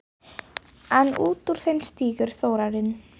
En út úr þeim stígur Þórarinn.